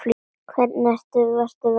Hvernig eru verstu veðrin hérna?